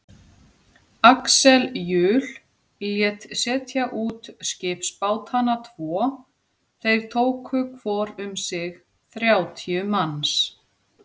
Axel Jul lét setja út skipsbátana tvo, þeir tóku hvor um sig þrjátíu manns.